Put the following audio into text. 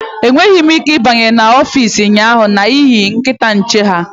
Enweghị m ike ịbanye n'ọfịs ụnyaahụ n'ihi nkịta nchekwa ha